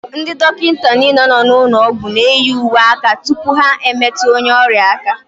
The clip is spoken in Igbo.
Ndị dọkịta nile nọ n'ụlọ ọgwụ n'eyi uwe aka tụpụ ha emetụ onye ọrịa aka.